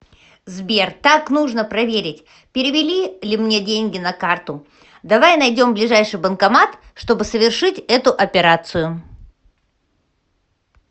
сбер так нужно проверить перевели ли мне деньги на карту давай найдем ближайший банкомат чтобы совершить эту операцию